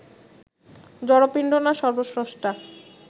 জড়পিণ্ড, না সর্ব্বস্রষ্টা